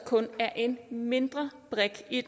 kun er en mindre brik i